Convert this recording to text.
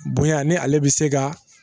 Bonya ni ale bɛ se ka